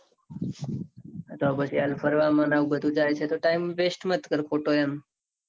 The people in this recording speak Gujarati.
તો પછી હાલ ફરવા ન આવું બધું જાય છે. તો time waste મત કર ખોટો એમ